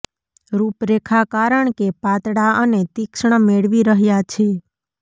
રૂપરેખા કારણ કે પાતળા અને તીક્ષ્ણ મેળવી રહ્યા છે